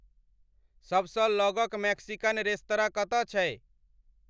सभसँ लगक Mexican restaurant कतऽ छै